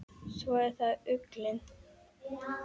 Svo er það ullin.